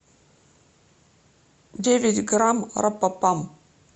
девять грамм рапапам